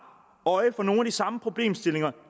øje for nogle af de samme problemstillinger